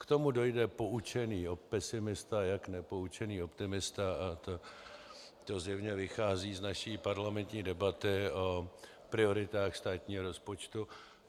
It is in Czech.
K tomu dojde poučený pesimista i nepoučený optimista a to zjevně vychází z naší parlamentní debaty o prioritách státního rozpočtu.